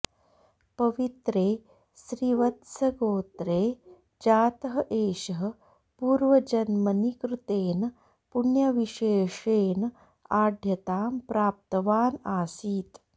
पवित्रे श्रीवत्सगोत्रे जातः एषः पूर्वजन्मनि कृतेन पुण्यविशेषेन आढ्यतां प्राप्तवान् आसीत्